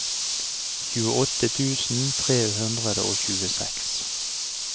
tjueåtte tusen tre hundre og tjueseks